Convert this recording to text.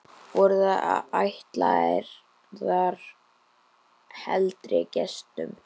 Voru þær ætlaðar heldri gestum.